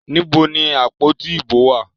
Níbo ni àpótí ìbò wá à?